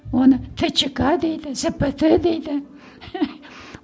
оны тчка дейді зпт дейді